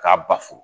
K'a basu